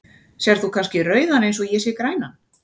Sérð þú kannski rauðan eins og ég sé grænan?